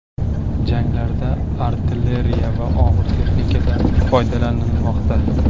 Janglarda artilleriya va og‘ir texnikadan foydalanilmoqda.